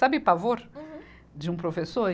Sabe pavor. Uhum. De um professor?